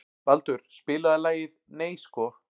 Baldur, spilaðu lagið „Nei sko“.